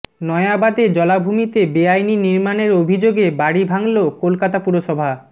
নয়াবাদে জলাভূমিতে বেআইনি নির্মাণের অভিযোগে বাড়ি ভাঙল কলকাতা পুরসভা